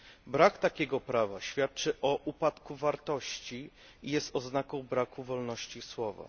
Brak takiego prawa świadczy o upadku wartości i jest oznaką braku wolności słowa.